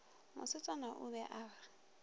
mosetsana o be a re